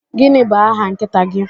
Gịnị bụ aha nkịta gị?